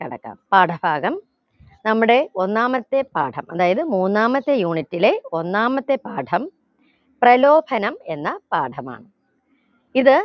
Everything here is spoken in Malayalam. കടക്കാം പാഠഭാഗം നമ്മുടെ ഒന്നാമത്തെ പാഠം അതായതു മൂന്നാമത്തെ unit ലെ ഒന്നാമത്തെ പാഠം പ്രലോഭനം എന്ന പാഠമാണ് ഇത്